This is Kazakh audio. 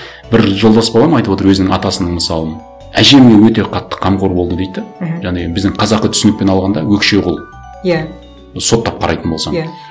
бір жолдас балам айтып отыр өзінің атасының мысалын әжеме өте қатты қамқор болды дейді де мхм яғни біздің қазақы түсінікпен алғанда өкшеқол иә соттап қарайтын болсаң иә